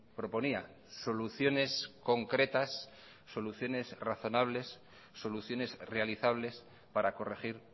proponía soluciones concretas soluciones razonables soluciones realizables para corregir